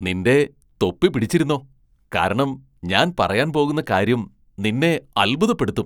നിന്റെ തൊപ്പി പിടിച്ചിരുന്നോ , കാരണം ഞാൻ പറയാൻ പോകുന്ന കാര്യം നിന്നെ അത്ഭുതപ്പെടുത്തും .